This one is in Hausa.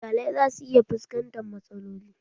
Iyalai za su iya fuskantan matsaloli